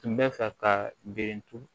Tun bɛ fɛ ka bere turu